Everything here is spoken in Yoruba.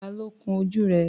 Tá ló kún ojú rẹ̀?